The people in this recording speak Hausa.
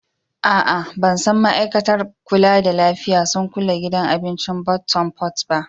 Aa, ban san ma'aikatar kulla da lafiya sun kulle gidan abincin Bottom pot ba.